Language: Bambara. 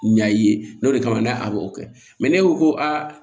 Ɲa i ye n'o de kama n'a a b'o kɛ ne ko ko aa